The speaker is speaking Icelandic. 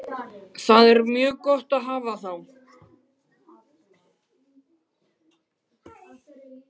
Það er mjög gott að hafa þá.